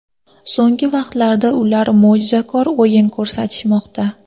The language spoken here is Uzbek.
So‘nggi vaqtlarda ular mo‘jizakor o‘yin ko‘rsatishmoqda.